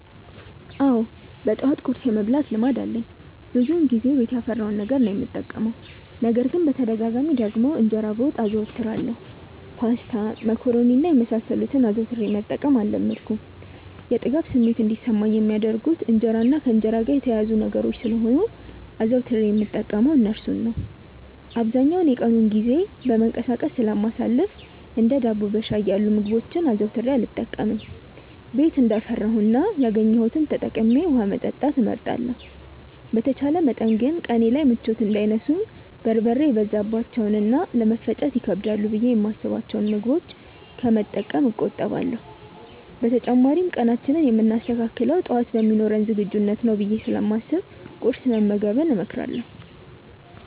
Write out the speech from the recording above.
አዎ በጠዋት ቁርስ የመብላት ልማድ አለኝ። ብዙውን ጊዜ ቤት ያፈራውን ነገር ነው የምጠቀመው። ነገር ግን በተደጋጋሚ ደግሞ እንጀራ በወጥ አዘወትራለሁ። ፓስታ፣ መኮሮኒ እና የመሳሰሉትን አዘውትሬ መጠቀም አልለመድኩም። የጥጋብ ስሜት እንዲሰማኝ የሚያደርጉት እንጀራ እና ከእንጀራ ጋር የተያያዙ ነገሮች ስለሆኑ አዘውትሬ የምጠቀመው እርሱን ነው። አብዛኛውን የቀኑን ጊዜ በመንቀሳቀስ ስለማሳልፍ እንደ ዳቦ በሻይ ያሉ ምግቦችን አዘውትሬ አልጠቀምም። ቤት እንዳፈራው እና ያገኘሁትን ተጠቅሜ ውሀ መጠጣት እመርጣለሁ። በተቻለ መጠን ግን ቀኔ ላይ ምቾት እንዳይነሱኝ በርበሬ የበዛባቸውን እና ለመፈጨት ይከብዳሉ ብዬ የማስብቸውን ምግቦች ከመጠቀም እቆጠባለሁ። በተጨማሪም ቀናችንን የምናስተካክለው ጠዋት በሚኖረን ዝግጁነት ነው ብዬ ስለማስብ ቁርስ መመገብን እመክራለሁ።